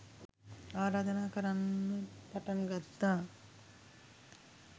ආරාධනා කරන්න පටන් ගත්තා